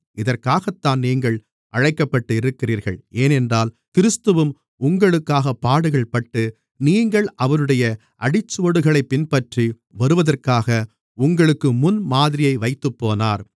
இதற்காகத்தான் நீங்கள் அழைக்கப்பட்டிருக்கிறீர்கள் ஏனென்றால் கிறிஸ்துவும் உங்களுக்காகப் பாடுகள்பட்டு நீங்கள் அவருடைய அடிச்சுவடுகளைப் பின்பற்றி வருவதற்காக உங்களுக்கு முன்மாதிரியை வைத்துப்போனார்